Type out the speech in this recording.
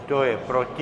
Kdo je proti?